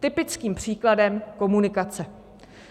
Typickým příkladem - komunikace.